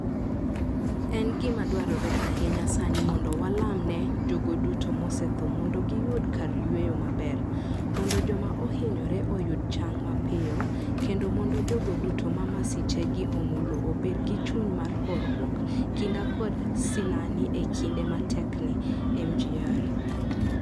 En gima dwarore ahinya sani mondo walam ne jogo duto mosetho mondo giyud kar yueyo maber, mondo joma ohinyore oyud chang mapiyo, kendo mondo jogo duto ma masichegi omulo obed gi chuny mar horuok, kinda kod sinani e kinde matekni, Mgr.